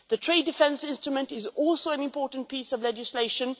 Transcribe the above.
The trade defence instrument is also an important piece of legislation.